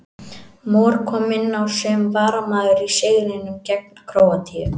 Mor kom inn á sem varamaður í sigrinum gegn Króatíu.